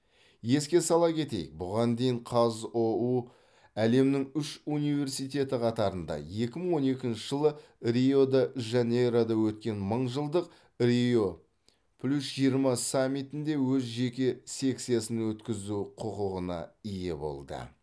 еске сала кетейік бұған дейін қазұу әлемнің үш университеті қатарында екі мың он екінші жылы рио де жанейрода өткен мыңжылдық рио плюс жиырма саммитінде өз жеке секциясын өткізу құқығына ие болды